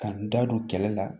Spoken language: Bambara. Ka n da don kɛlɛ la